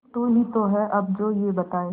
तू ही तो है अब जो ये बताए